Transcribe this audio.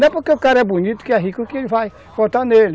Não é porque o cara é bonito que é rico que vai votar nele.